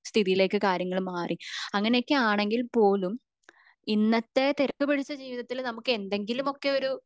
സ്ഥിതിയിലേക്ക് കാര്യങ്ങൾ മാറി അങ്ങനെ ഒക്കെ ആണെങ്കിൽ പോലും ഇന്നത്തെ തിരക്ക് പിടിച്ച ജീവിതത്തിൽ എന്തെങ്കിലുമൊക്കെ ഒരു